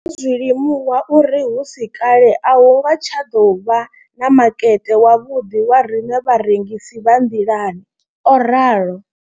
Ndo ḓo zwi limuwa uri hu si kale a hu nga tsha ḓo vha na makete wavhuḓi wa riṋe vharengisi vha nḓilani, o ralo.